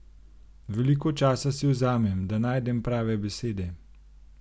Veliko časa si vzamem, da najdem prave besede.